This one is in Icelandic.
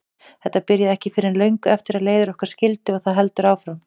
Þetta byrjaði ekki fyrr en löngu eftir að leiðir okkar skildi og það heldur áfram.